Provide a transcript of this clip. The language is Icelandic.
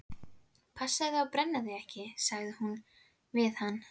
Passaðu þig að brenna þig ekki- sagði hún við hann.